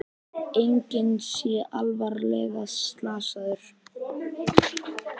Enginn sé alvarlega slasaður